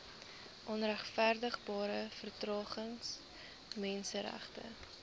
onregverdigbare vertragings menseregte